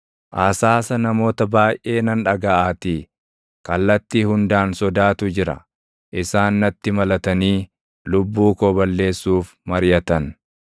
Asaasa namoota baayʼee nan dhagaʼaatii; kallattii hundaan sodaatu jira! Isaan natti malatanii lubbuu koo balleessuuf mariʼatan.